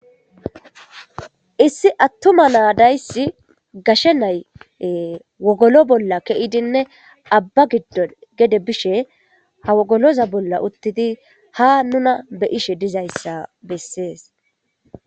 issi attuma naa dayssi gashe nay wogolo bolla keidinne abba giddon gede bishe ha wogoloza bolla uttidi ha nuna be ishe dizayssa bessees